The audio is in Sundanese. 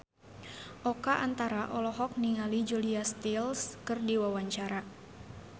Oka Antara olohok ningali Julia Stiles keur diwawancara